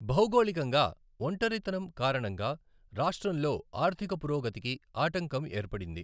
భౌగోళికంగా ఒంటరితనం కారణంగా, రాష్ట్రంలో ఆర్థిక పురోగతికి ఆటంకం ఏర్పడింది.